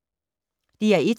DR1